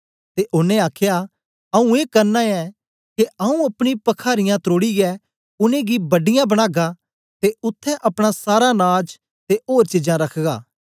ते ओनें आखया आऊँ ए करना ऐ के आऊँ अपनी पखारियाँ त्रोड़ियै उनेंगी बड्डीयां बनागा ते उत्थें अपना सारा नाज ते ओर चीजां रखगा